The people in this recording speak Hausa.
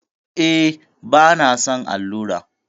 E, bana son allura.